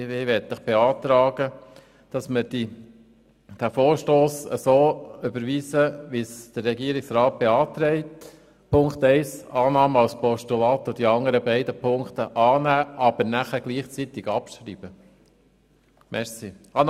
Ich möchte Ihnen beantragen, den Vorstoss so zu überweisen, wie es der Regierungsrat beantragt, bei Ziffer 1 Annahme als Postulat und bei den beiden anderen Ziffern Annahme mit gleichzeitiger Abschreibung.